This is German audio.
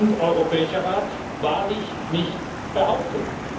Rat und Europäischer Rat wahrlich nicht behaupten.